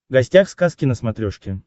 гостях сказки на смотрешке